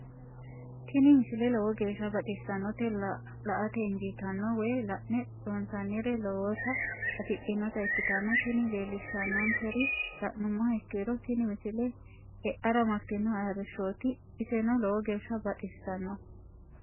tini misile lowo geeshsha baxissannote la"ate injiitanno woy la'ne ronsannire lowote afidhinota ikkitanna tini leellishshannonkeri la'nummoha ikkiro tini misile e'ara martino arrishshooti iseno lowo geeshsha baxisanno.